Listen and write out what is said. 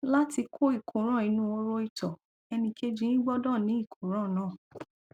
láti kó ìkóràn inú horo ìtọ ẹnìkejì yín gbọdọ ní ìkóràn náà